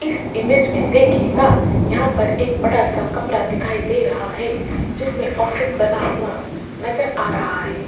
इस इमेज में देखिएगा यहां पर एक बड़ा सा कमरा दिखाई दे रहा है जिसमें ऑफिस बना हुआ नजर आ रहा है।